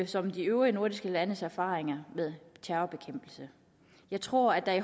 som de øvrige nordiske landes erfaringer med terrorbekæmpelse jeg tror at